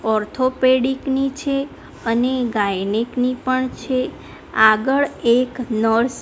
orthopaedic ની છે અને ગાયનેક ની પણ છે આગળ એક નર્સ --